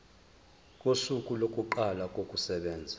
kosuku lokuqala kokusebenza